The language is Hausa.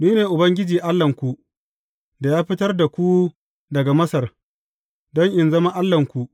Ni ne Ubangiji Allahnku, da ya fitar da ku daga Masar, don in zama Allahnku.